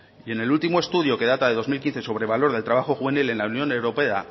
y en el último estudio que data de dos mil quince sobre valor del trabajo juvenil en la unión europea